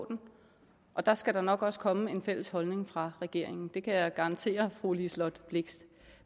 den og der skal der nok også komme en fælles holdning fra regeringen det kan jeg garantere fru liselott blixt